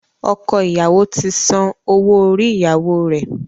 Ọkọ ìyàwó ti san owó orí-ìyàwó rẹ.